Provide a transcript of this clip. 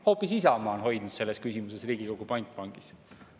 Hoopis Isamaa on hoidnud selles küsimuses Riigikogu pantvangis!